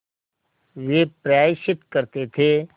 वे प्रायश्चित करते थे